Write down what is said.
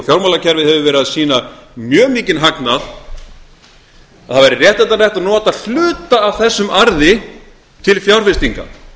fjármálakerfið hefur verið að sýna mjög mikinn hagnað að það væri réttlætanlegt að nota hluta af þessum arði til fjárfestinga